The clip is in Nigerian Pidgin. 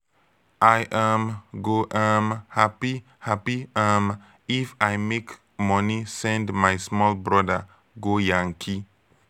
i um go um hapi hapi um if i make moni send my small broda go yankee.